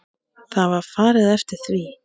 Það var farið eftir því.